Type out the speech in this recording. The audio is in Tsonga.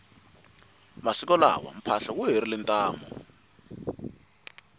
masiku lawa mphahlo wu herile ntamu